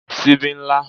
Sibí n lá